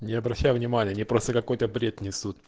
не обращай внимания они просто какой-то бред несут